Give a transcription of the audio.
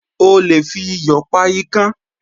O lè fi iyò pa ikán